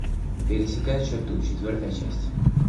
пересекая черту четвертая часть